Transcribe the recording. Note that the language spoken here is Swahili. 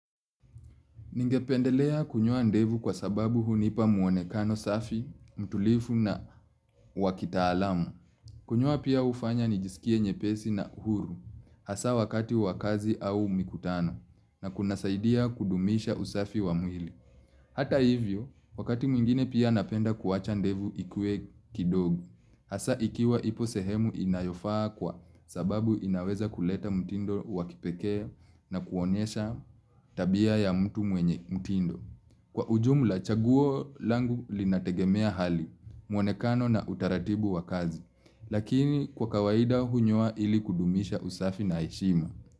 Ningependelea kunyoa ndevu kwa sababu hunipa mwonekano safi, mtulifu na wakitaalamu. Kunyoa pia ufanya nijisikie nyepesi na huru hasa wakati wa kazi au mikutano na kunasaidia kudumisha usafi wa mwili. Hata hivyo, wakati mwingine pia napenda kuwacha ndevu ikue kidogo hasa ikiwa ipo sehemu inayofaa kwa sababu inaweza kuleta mtindo wakipeke na kuonyesha tabia ya mtu mwenye mtindo. Kwa ujumla chaguo langu linategemea hali, mwonekano na utaratibu wa kazi, lakini kwa kawaida hunyoa ili kudumisha usafi na heshima.